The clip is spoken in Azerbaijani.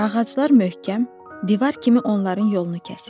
Ağaclar möhkəm divar kimi onların yolunu kəsirdi.